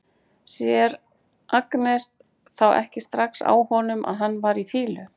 Sér Agnes þá ekki strax á honum að hann var í fýlu?